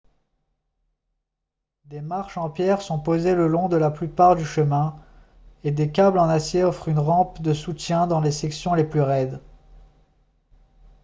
des marches en pierre sont posées le long de la plupart du chemin et des câbles en acier offrent une rampe de soutien dans les sections les plus raides